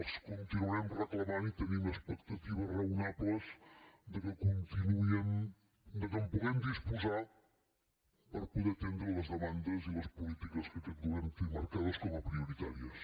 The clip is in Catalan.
els continuarem reclamant i tenim expectatives raonables que en puguem disposar per poder atendre les demandes i les polítiques que aquest govern té marcades com a prioritàries